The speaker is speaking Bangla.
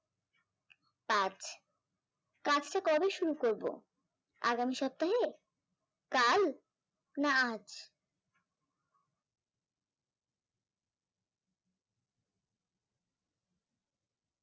কাজ, কাজটা কবে শুরু করবো? আগামী সপ্তাহে? কাল না আজ